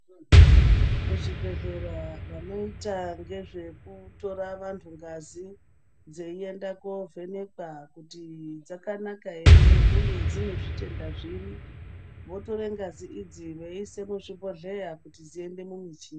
Muzvibhedhlera vanoita ngezvekutora vantu ngazi dzeienda kovhenekwa kuti dzakanaka ere, uye dzine zvitenda zviri. Motore ngazi idzi moise muzvibhodhleya kuti dziende mumichina.